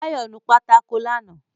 Báyọ̀ nu pátákó lánàá